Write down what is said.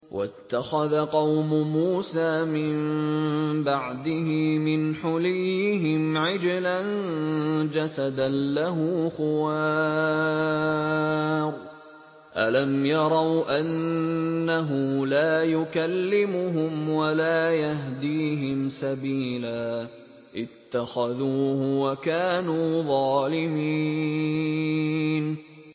وَاتَّخَذَ قَوْمُ مُوسَىٰ مِن بَعْدِهِ مِنْ حُلِيِّهِمْ عِجْلًا جَسَدًا لَّهُ خُوَارٌ ۚ أَلَمْ يَرَوْا أَنَّهُ لَا يُكَلِّمُهُمْ وَلَا يَهْدِيهِمْ سَبِيلًا ۘ اتَّخَذُوهُ وَكَانُوا ظَالِمِينَ